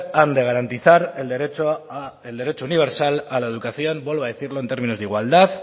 han de garantizar el derecho universal a la educación vuelvo a decirlo en términos de igualdad